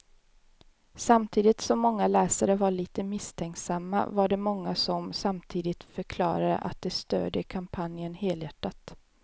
Samtidigt som många läsare var lite misstänksamma var det många som samtidigt förklarade att de stödjer kampanjen helhjärtat.